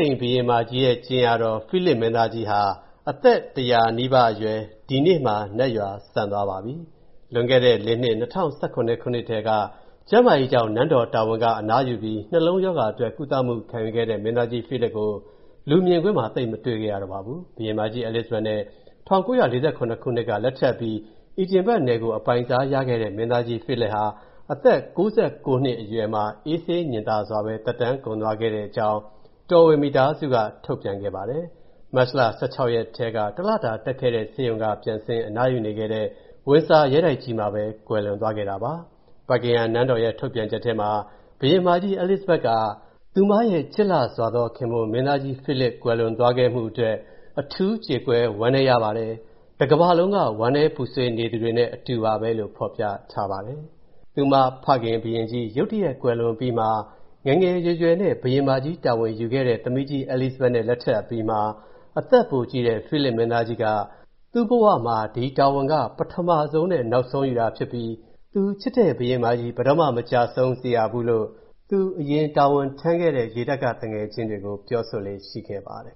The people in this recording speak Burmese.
ိန်ဘုရင်မကြီးရဲ့ ကြင်ယာတော် ဖိလစ်မင်းသားကြီးဟာ အသက် ၁၀၀ နီးပါးအရွယ် ဒီကနေ့မှာနတ်ရွာစံသွားပါပြီ။ လွန်ခဲ့တဲ့ ၄ နှစ်၂၀၁၇ ထဲက ကျန်းမာရေးကြောင့် နန်းတော်တာဝန်က အနားယူပြီး နှလုံးရောဂါအခံအတွက် ကုသမူခံယူခဲ့တဲ့ မင်းသားကြီးဖိလစ်ကို လူမြင်ကွင်းမှာ သိပ်မတွေ့ခဲ့ရတော့ပါဘူး။ ဘုရင်မကြီး Elizabeth နဲ့ ၁၉၄၇ ခုနှစ်မှာ လက်ထပ်အပြီး အီဒင်ဘာ့ဂ်နယ်ကို အပိုင်စားခဲ့ရတဲ့ မင်းသားကြီး ဖိလစ်ဟာ အသက် ၉၉ နှစ်အရွယ်မှာ အေးဆေးငြင်သာစွာပဲ သက်တမ်းကုန်သွားတဲ့အကြောင်း တော်ဝင်မိသားစုက ထုတ်ပြန်ပါတယ်။ မတ်လ ၁၆ ရက်ထဲက တလတာတက်ခဲ့တဲ့ဆေးရုံကပြန်ဆင်း အနားယူနေခဲ့တဲ့ Windsor ရဲတိုက်ကြီးထဲမှာပဲ ကွယ်လွန်သွားခဲ့တာပါ။ Buckingham နန်းတော်ရဲ့ ထုတ်ပြန်ချက်ထဲမှာ ဘုရင်မကြီး Elizabeth က သူမရဲ့ ချစ်လှစွာသောခင်ပွန်း မင်းသားကြီး ဖိလစ် ကွယ်လွန်သွားမှုအတွက် အထူးကြေကွဲဝမ်းနည်းရပါတယ်၊ တကမ္ဘာလုံးက ဝမ်းနည်းပူဆွေးနေသူတွေနဲ့အတူပါပဲလို့ ဖော်ပြထားပါတယ်။ သူမဖခင်ဘုရင်ကြီး ရုတ်တရက်ကွယ်လွန်အပြီးမှာ ငယ်ငယ်ရွယ်ရွယ်နဲ့ ဘုရင်မကြီးတာဝန်ယူခဲ့ရတဲ့ သမီးကြီး Elizabeth နဲ့လက်ထပ်အပြီးမှာ အသက်ပိုကြီးတဲ့ ဖိလစ်မင်းသားကြီးက သူ့ဘဝမှာ ဒီတာဝန်က ပထမဆုံးနဲ့နောက်ဆုံးယူတာဖြစ်ပြီး သူချစ်တဲ့ ဘုရင်မကြီး ဘယ်တော့မှ မကျဆုံးစေရဘူးလို့ သူ အရင်တာဝန်ထမ်းထဲ့တဲ့ ရေတပ်ကသူငယ်ချင်းတွေကို ပြောဆိုလေ့ရှိခဲ့ပါတယ်